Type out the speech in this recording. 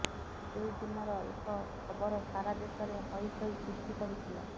ସେହି ଦିନର ଏକ ଖବର ସାରା ଦେଶରେ ହଇଚଇ ସୃଷ୍ଟି କରିଥିଲା